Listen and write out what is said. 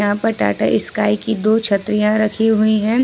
यहां पे टाटा स्काई की दो छतरियां रखी हुई हैं।